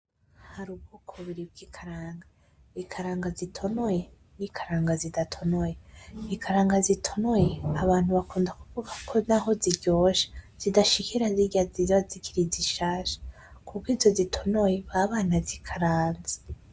Hari ubwoko bubiri bw'ikaranga, ikaranga zitonoye n'ikaranga zidatonoye. Ikaranga zitonoye abantu bakunda kuvuga ko naho ziryoshe zidashikira zirya ziza zikiri zishasha kuko izo zitonoye baba banazikaranze.